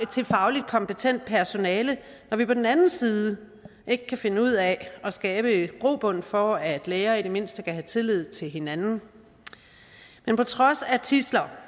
til faglig kompetent personale når vi på den anden side ikke kan finde ud af at skabe grobund for at læger i det mindste kan have tillid til hinanden men på trods af tidsler